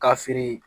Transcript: Ka fili